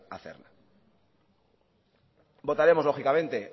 hacerla votaremos lógicamente